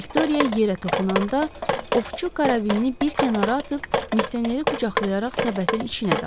Viktoriya yerə toxunanda, Ovçu karabini bir kənara atıb misioneri qucaqlayaraq səbətin içinə dartdı.